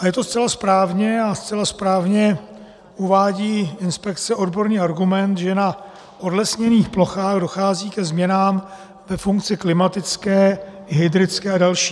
A je to zcela správně a zcela správně uvádí inspekce odborný argument, že na odlesněných plochách dochází ke změnám ve funkci klimatické, hydrické a další.